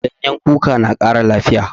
Ganyen kuka na ƙara lafiya.